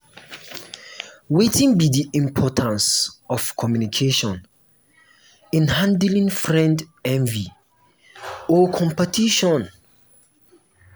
wetin be di importance of communication in handling friend envy or competition?